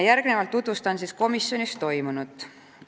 Järgnevalt tutvustan komisjonis toimunut.